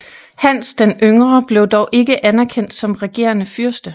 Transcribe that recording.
Hans den Yngre blev dog ikke anerkendt som regerende fyrste